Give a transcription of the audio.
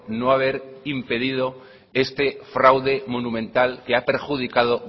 no haber impedido este fraude monumental que ha perjudicado